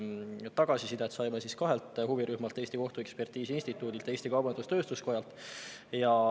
Tagasisidet saime kahelt huvirühmalt: Eesti Kohtuekspertiisi Instituudilt ja Eesti Kaubandus-Tööstuskojalt.